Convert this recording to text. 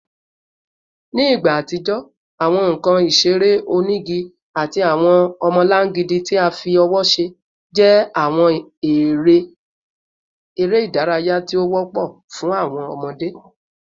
Ni igba atijọ, awọn nkan isere onigi ati awọn ọmọlangidi ti a fi ọwọ ṣe jẹ awọn ere idaraya ti o wọpọ fun awọn ọmọde